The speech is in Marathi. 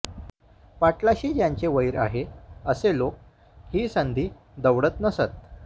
पाटलाशी ज्यांचे वैर आहे असे लोक ही संधी दवडत नसत